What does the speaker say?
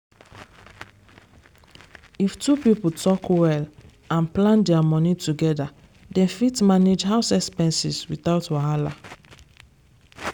if two people talk well and plan their money together dem fit manage house expenses without wahala.